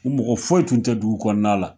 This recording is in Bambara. U mɔgɔ foyi tun tɛ dugu kɔnɔna la